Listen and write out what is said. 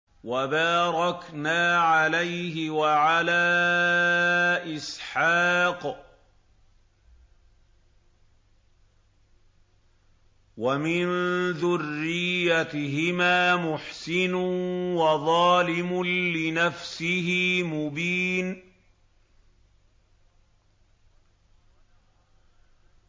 وَبَارَكْنَا عَلَيْهِ وَعَلَىٰ إِسْحَاقَ ۚ وَمِن ذُرِّيَّتِهِمَا مُحْسِنٌ وَظَالِمٌ لِّنَفْسِهِ مُبِينٌ